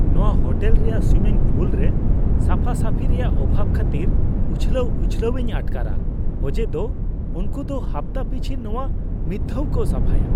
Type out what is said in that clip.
ᱱᱚᱶᱟ ᱦᱳᱴᱮᱞ ᱨᱮᱭᱟᱜ swimming pool ᱨᱮ ᱥᱟᱯᱷᱟᱼᱥᱟᱯᱷᱤ ᱨᱮᱭᱟᱜ ᱚᱵᱷᱟᱵᱽ ᱠᱷᱟᱹᱛᱤᱨ ᱩᱪᱷᱞᱟᱹᱣ ᱩᱪᱷᱞᱟᱹᱣᱤᱧ ᱟᱴᱠᱟᱨᱼᱟ ᱚᱡᱮ ᱫᱚ ᱩᱱᱠᱚ ᱫᱚ ᱦᱟᱯᱛᱟ ᱯᱤᱪᱷᱤ ᱱᱚᱶᱟ ᱢᱤᱫᱫᱷᱟᱣ ᱠᱚ ᱥᱟᱯᱷᱟᱭᱟ ᱾